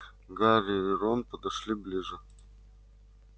гарри и рон подошли ближе